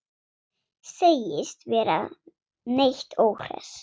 Segist ekki vera neitt óhress.